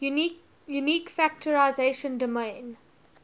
unique factorization domain